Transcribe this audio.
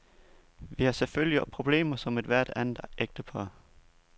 Vi har selvfølgelig problemer som ethvert andet ægtepar.